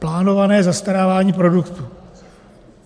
Plánované zastarávání produktů.